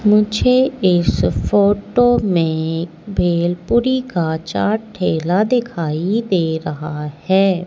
मुझे इस फोटो में भेलपुरी का चाट ठेला दिखाई दे रहा है।